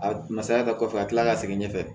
A masaya ka kɔfɛ ka kila ka segin ɲɛfɛ